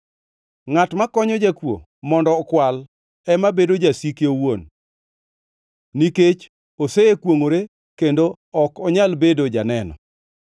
Ngʼat makonyo jakuo mondo okwal ema bedo jasike owuon; nikech osekwongʼore kendo ok onyal bedo janeno.